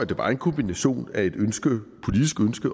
det var en kombination af et politisk ønske